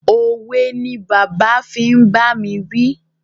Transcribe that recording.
Òwe ni bàbá fi ń bá mi wí.